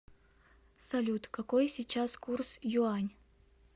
салют какой сейчас курс юань